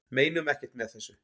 Meinum ekkert með þessu